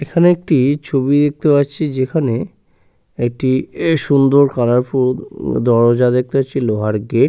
এখানে একটা ছবি দেখতে পাচ্ছি যেখানে একটি এ সুন্দর কালার ফুল দরজা দেখতে পাচ্ছি। লোহার গেট--